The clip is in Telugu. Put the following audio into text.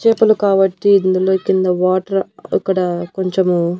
చేపలు కాబట్టి ఇందులో కింద వాటర్ అక్కడ కొంచము.